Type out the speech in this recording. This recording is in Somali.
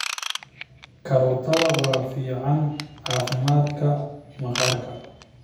Karootiga waa fiican caafimaadka maqaarka.